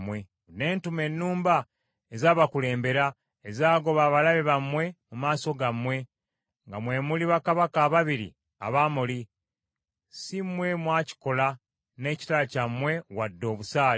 Ne ntuma ennumba ezabakulembera ezagoba abalabe bammwe mu maaso gammwe, nga mwe muli bakabaka ababiri Abamoli; si mmwe mwakikola n’ekitala kyammwe wadde obusaale.